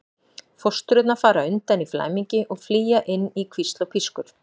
Fóstrurnar fara undan í flæmingi og flýja inn í hvísl og pískur.